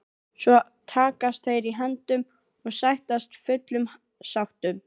Svo takast þeir í hendur og sættast fullum sáttum.